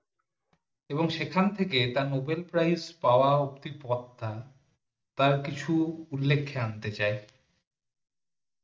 এবং সেখান থেকে তার নোবেল প্রাইজ পাওয়ার যে পথটা তার কিছু উল্লেখে আনতে চাই